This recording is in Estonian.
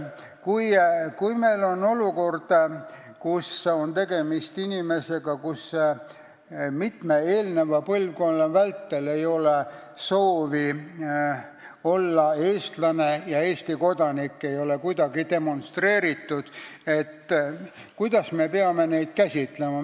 Kui meil on tegemist inimestega, kelle mitu eelmist põlvkonda ei ole soovinud olla eestlased ja kes ei ole Eesti kodanikuks olekut kuidagi demonstreerinud, siis kuidas me peame neid käsitlema?